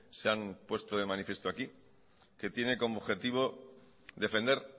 se han puesto de manifiesto aquí que tiene como objetivo defender